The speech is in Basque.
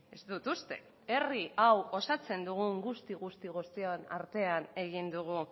ez dut uste herri hau osatzen dugun guzti guztion artean egin dugu